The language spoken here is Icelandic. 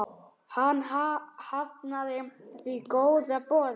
Hann hafnaði því góða boði.